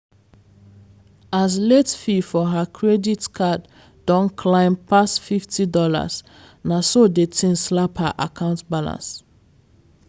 as late fee for her credit card don climb pass fifty dollars na so the thing slap her account balance.